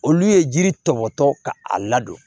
Olu ye jiri tɔmɔtɔ ka a ladon